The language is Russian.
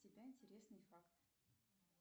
с тебя интересный факт